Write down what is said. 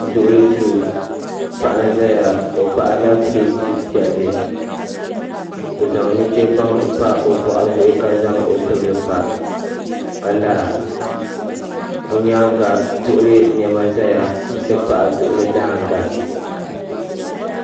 Duɣili duu ,paɣa n ʒaya ɔ paɣirla pleti piɛli, ɔzaŋ nuchebaŋ n pa bɔɣu zuɣu ka zaŋ ɔtibili n kpa. ka lara ɔ nyaaŋa duɣili nema ʒaya n ti pahi duɣili daaŋga